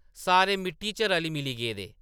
सारे मिट्टी च रली-मिली गेदे ।